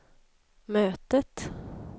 mötet